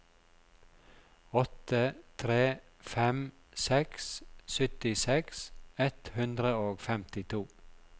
åtte tre fem seks syttiseks ett hundre og femtito